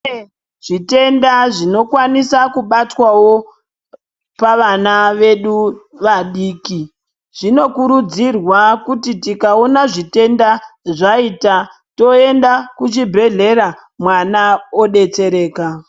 Kune zvitenda zvinokwanisa kubatwavo pavana vedu vadiki. Zvinokurudzirwa kuti tikaona zvitenda zvaita toenda kuchibhedhlera mwana obetsereka.